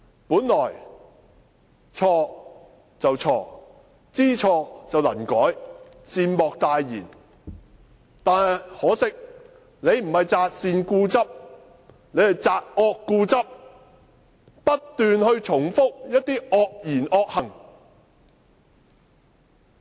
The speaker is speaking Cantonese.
本來錯了便錯，知錯能改，善莫大焉，但可惜，他不是擇善固執，而是擇惡固執，不斷重複一些惡言惡行。